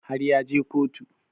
Har ya je kotu